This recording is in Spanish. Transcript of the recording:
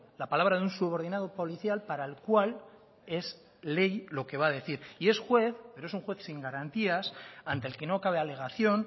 la palabra de un subordinado policial para el cual es ley lo que va a decir y es juez pero es un juez sin garantías ante el que no cabe alegación